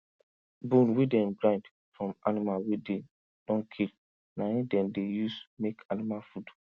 bone wey dem grind from animal wey dey don kill na him dem dey use make animal food